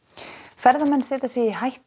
ferðamenn setja sig í hættu